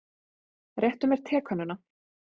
Réttu mér tekönnuna.